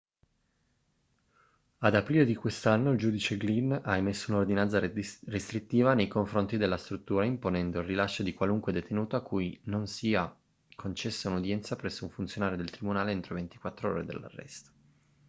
ad aprile di quest'anno il giudice glynn ha emesso un'ordinanza restrittiva nei confronti della struttura imponendo il rilascio di qualunque detenuto a cui non sia concessa un'udienza presso un funzionario del tribunale entro 24 ore dall'arresto